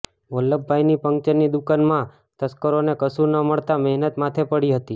વલ્લભભાઇની પંક્ચરની દુકાનમાં તસ્કરોને કશુ ન મળતા મહેનત માથે પડી હતી